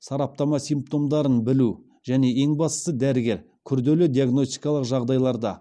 сараптама симптомдарын білу және ең бастысы дәрігер күрделі диагностикалық жағдайларда